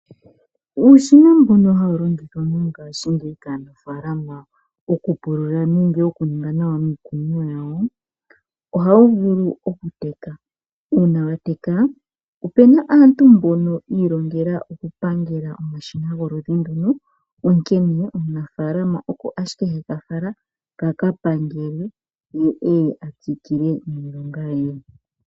Uushina mbuno hawulongithwa mongashi ngeyi kaanafalama oku NMpulula nenge okuninga nawa miikunino yawo ohatuvulu okuteka una wateka opuna aantu mbono yolongele oku pangela omashina goludhi ndono onkene omunafalama oka ashike hekafala kaka pangelwe ye eye atsikile niilonga ye.